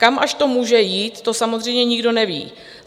Kam až to může jít, to samozřejmě nikdo neví.